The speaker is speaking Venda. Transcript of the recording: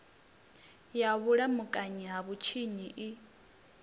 ya vhulamukanyi ha vhutshinyi i